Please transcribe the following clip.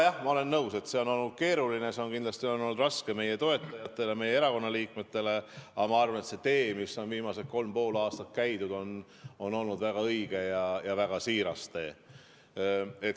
Jah, ma olen nõus, et see on olnud keeruline, see on kindlasti olnud raske meie toetajatele, meie erakonna liikmetele, aga ma arvan, et see tee, mida on viimased kolm ja pool aastat käidud, on olnud väga õige ja väga siiras tee.